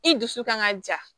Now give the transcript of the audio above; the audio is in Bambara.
I dusu kan ka ja